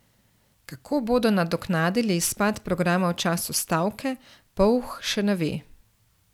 Kako bodo nadoknadili izpad programa v času stavke, Polh še ne ve.